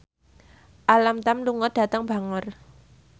Alam Tam lunga dhateng Bangor